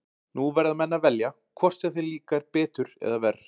Nú verða menn að velja, hvort sem þeim líkar betur eða verr.